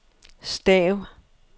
stav